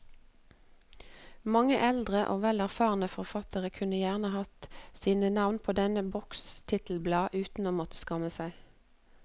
Mange eldre og vel erfarne forfattere kunne gjerne hatt sine navn på denne boks titelblad uten å måtte skamme seg.